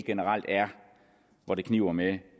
generelt er hvor det kniber med